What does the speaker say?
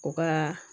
U ka